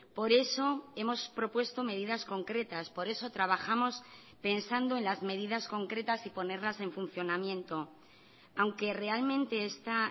por eso hemos propuesto medidas concretas por eso trabajamos pensando en las medidas concretas y ponerlas en funcionamiento aunque realmente está